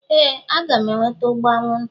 Éè, a ga m eweta ụgbụ anwụnta.